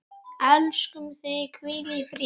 Elskum þig, hvíl í friði.